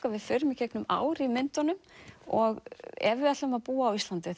að við förum í gegnum ár í myndunum og ef við ætlum að búa á Íslandi